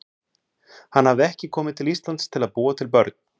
Hann hafði ekki komið til Íslands til að búa til börn.